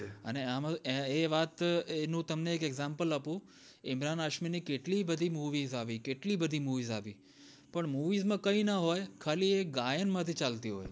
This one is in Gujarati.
એ વાત નું તમને એક example આપું ઇમરાન હાસમી ની કેટલી બધી movies આવી કેટલી બધી movies આવી પણ movies માં કય ના હોય એ ગાયન માંથી ચાલતી હોય